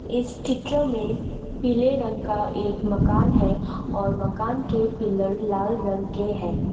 इस चित्र में पीले रंग का एक मकान है और मकान के पिलर लाल रंग के है।